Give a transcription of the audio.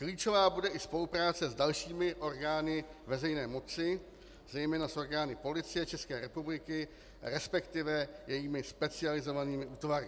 Klíčová bude i spolupráce s dalšími orgány veřejné moci, zejména s orgány Policie České republiky, respektive jejími specializovanými útvary.